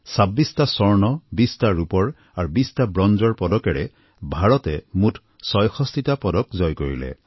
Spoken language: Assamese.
২৬টা স্বৰ্ণ ২০টা ৰূপৰ আৰু ২০টা ব্ৰঞ্জৰ পদকেৰে ভাৰতে মুঠ ৬৬টা পদক জয় কৰিলে